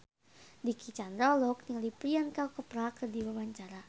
Dicky Chandra olohok ningali Priyanka Chopra keur diwawancara